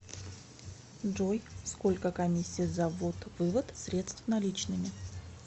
джой сколько комиссия за ввод вывод средств наличными